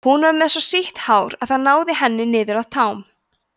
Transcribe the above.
hún var með svo sítt hár að það náði henni niður að tám